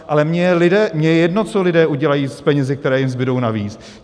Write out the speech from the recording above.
Ale mně je jedno, co lidé udělají s penězi, které jim zbudou navíc.